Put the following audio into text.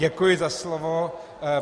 Děkuji za slovo.